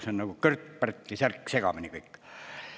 See on nagu Kört-Pärtli särk, segamini kõik.